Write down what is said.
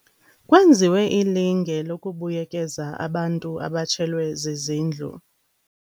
Kwenziwe ilinge lokubuyekeza abantu abatshelwe zizindlu.